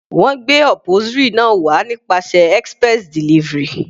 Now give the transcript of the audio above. Wọ́n gbé upholstery náà wá nípasẹ̀ express delivery.